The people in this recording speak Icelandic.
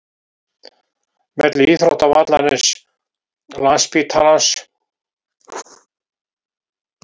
Milli íþróttavallarins, landsspítalans